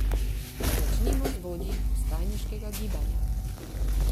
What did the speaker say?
Začnimo z vodji vstajniškega gibanja.